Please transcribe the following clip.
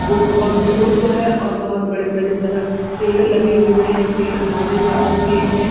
वो बहुत दूर को है और बहुत बड़े-बड़े दरक पेड़ लगे हुए है पेड़ हरे रंग के है।